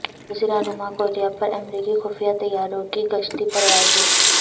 جزیرہ نما کوریا پر امریکی خفیہ طیاروں کی گشتی پروازیں